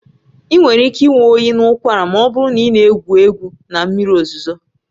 Ị nwere ike ịnwe oyi na ụkwara ma ọ bụrụ na ị na-egwu egwu na mmiri ozuzo